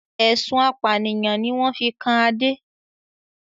Ẹ̀sùn apànìyàn ni wọn fi kan Adé